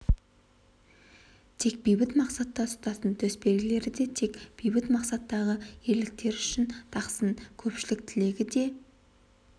тек бейбіт мақсатта ұстасын төсбелгілерді де тек бейбіт мақсаттағы ерліктері үшін тақсын көпшілік тілегі де